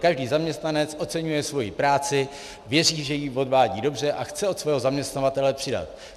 Každý zaměstnanec oceňuje svoji práci, věří, že ji odvádí dobře, a chce od svého zaměstnavatele přidat.